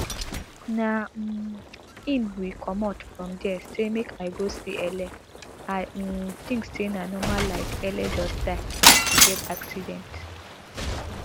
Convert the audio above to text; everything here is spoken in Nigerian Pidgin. na um im we comot from dia say make i go see ele i um tink say na normal like ele just die as she get accident